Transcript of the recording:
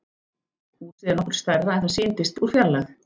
Húsið er nokkru stærra en það sýndist úr fjarlægð.